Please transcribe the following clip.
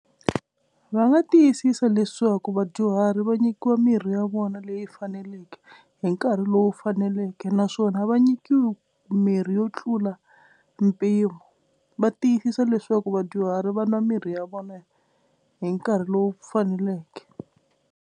Va nga tiyisisa leswaku vadyuhari va nyikiwa mirhi ya vona leyi faneleke hi nkarhi lowu faneleke naswona a va nyikiwi mirhi yo tlula mpimo. Va tiyisisa leswaku vadyuhari va nwa mirhi ya vona hi nkarhi lowu faneleke.